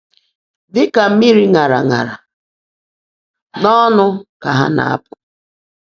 Dị ka mmiri ṅara ṅara, n'ọnụ ka ha na-apụ!